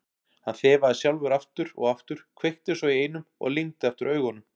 Hann þefaði sjálfur aftur og aftur, kveikti svo í einum og lygndi aftur augunum.